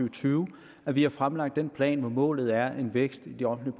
og tyve at vi har fremlagt den plan hvor målet er en vækst i den offentlige